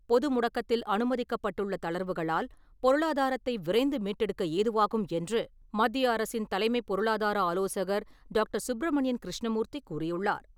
பொது முடக்கத்தில் அனுமதிக்கப்பட்டுள்ள தளர்வுகளால், பொருளாதாரத்தை விரைந்து மீட்டெடுக்க ஏதுவாகும் என்று, மத்திய அரசின் தலைமைப் பொருளாதார ஆலோசகர் டாக்டர். சுப்ரமணியன் கிருஷ்ணமூர்த்தி கூறியுள்ளார்.